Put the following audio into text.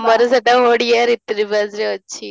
ଆମର ସେଇଟା ଓଡ଼ିଆରେ ରୀତି ନିବାସରେ ଅଛି